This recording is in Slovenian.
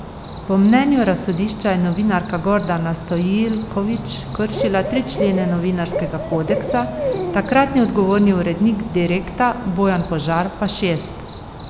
Po mnenju razsodišča je novinarka Gordana Stojiljković kršila tri člene novinarskega kodeksa, takratni odgovorni urednik Direkta Bojan Požar pa šest.